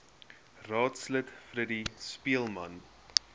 raadslid freddie speelman